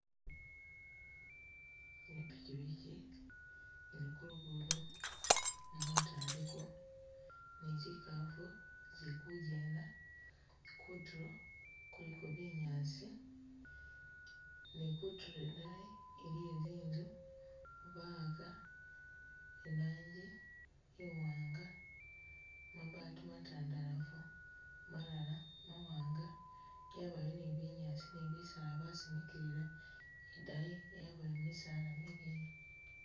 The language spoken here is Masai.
I pikyipikyi ili kulugudo, ni umutu aliko ,nizikafu zikugenda, kutulo kuliko binyaasi, nikutulo idaayi iliyo zi'nzu bawaka i rangi iwanga, mabati matandalafu malala mawanga yabayo ni binyaasi ni bisaala basimikilila nidayi yabayo misaala mileyi.